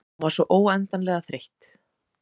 Hún var svo óendanlega þreytt.